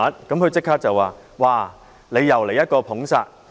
副主席立即說"又來一個'捧殺'！